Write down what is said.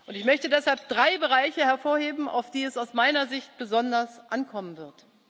Ich möchte deshalb drei Bereiche hervorheben, auf die es aus meiner Sicht besonders ankommen wird.